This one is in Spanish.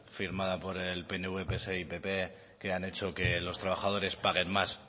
firmada por el pnv pse y pp que han hecho que los trabajadores paguen más